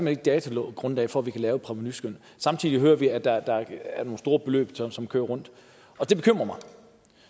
er datagrundlag for at kunne lave et provenuskøn samtidig hører vi at der er nogle store beløb som som kører rundt og det bekymrer mig